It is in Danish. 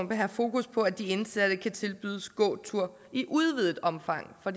vil have fokus på at de indsatte kan tilbydes gåtur i udvidet omfang for